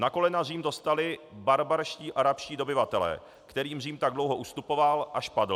Na kolena Řím dostali barbarští arabští dobyvatelé, kterým Řím tak dlouho ustupoval, až padl.